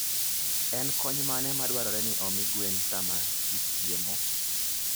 En kony mane madwarore ni omi gwen sama gichiemo?